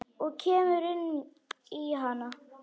Og kemur inn í hana.